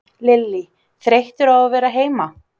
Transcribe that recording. Lillý: Þreyttur á að vera heima?